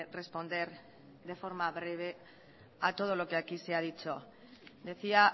responder de forma breve a todo lo que aquí se ha dicho decía